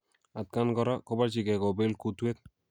Atkaan kora kobarchingei kobel kuutwet